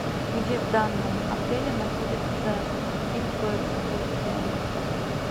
где в данном отеле находится гид по экскурсиям